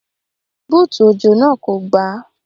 Búùtù òjò náà kò gbà á.